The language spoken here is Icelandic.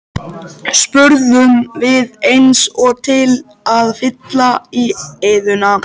spurðum við eins og til að fylla í eyðuna.